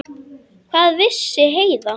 Hvað vissi Heiða?